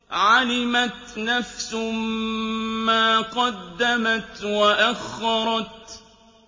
عَلِمَتْ نَفْسٌ مَّا قَدَّمَتْ وَأَخَّرَتْ